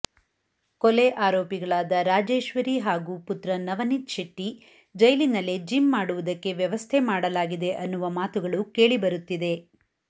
ಕೋಲೆ ಆರೋಪಿಗಳಾರ ರಾಜೇಶ್ವರಿ ಹಾಗೂ ಪುತ್ರ ನವನೀತ್ ಶೆಟ್ಟಿ ಜೈಲಿನಲ್ಲೆ ಜಿಮ್ ಮಾಡುವುದಕ್ಕೆ ವ್ಯವಸ್ಥೆ ಮಾಡಲಾಗಿದೆ ಅನ್ನುವ ಮಾತುಗಳು ಕೇಳಿಬರುತ್ತಿದೆ